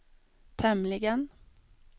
tämligen